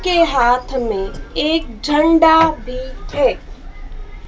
के हाथ मे एक झंडा भी है--